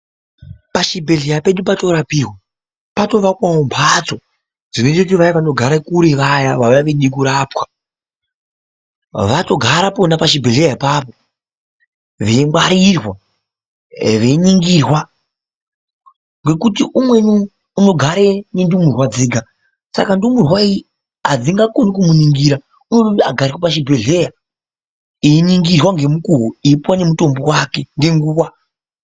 Pazvibhedhlera pedu patorapirwa patovakwawo mbatso dzinoitire vaye vanogare kure vaya vavave kurapwa, vatogara pona pachibhedhlera papo veingwarirwa, veiningirwa nokuti umweni unogare nendumurwa dzega, saka ndumurwayi hadzingakoni kumuningira, unototi agare ipapo pachibhedhlera einingirwa ngemukuwo eipiwa ngemutombo wake nenguwa.